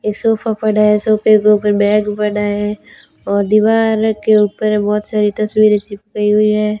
एक सोफा पड़ा है सोफे के ऊपर एक बैग पड़ा है और दीवार के ऊपर बहुत सारी तस्वीरें चिपकी हुई हैं।